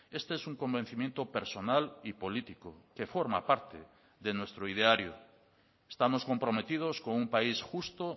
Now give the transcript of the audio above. este es un convencimiento personal y político que forma parte de nuestro ideario estamos comprometidos con un país justo